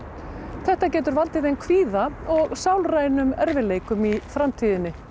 þetta getur valdið þeim kvíða og sálrænum erfiðleikum í framtíðinni